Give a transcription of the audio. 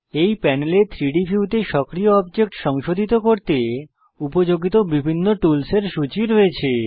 এই প্যানেলে 3ডি ভিউতে সক্রিয় অবজেক্ট সংশোধিত করতে উপযোগিত বিভিন্ন টুলস এর সূচী রয়েছে